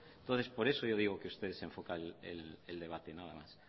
entonces por eso yo digo que usted desenfoca el debate nada más